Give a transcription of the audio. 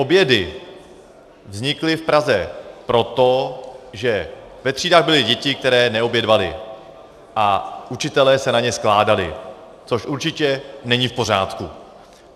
Obědy vznikly v Praze proto, že ve třídách byly děti, které neobědvaly, a učitelé se na ně skládali, což určitě není v pořádku.